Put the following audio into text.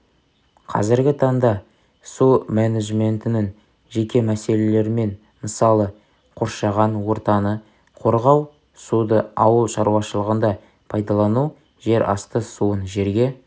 қазіргі таңда су менеджментінің жеке мәселелерімен мысалы қоршаған ортаны қорғау суды ауыл шарушылығында пайдалану жерасты суын жерге